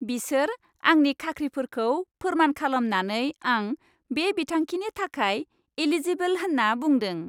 बिसोर आंनि खाख्रिफोरखौ फोरमान खालामनानै आं बे बिथांखिनि थाखाय एलिजिबोल होन्ना बुंदों।